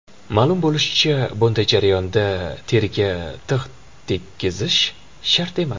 Ma’lum bo‘lishicha, bunday jarayonda teriga tig‘ tekkizish shart emas.